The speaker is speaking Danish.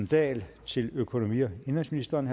dahl til økonomi og indenrigsministeren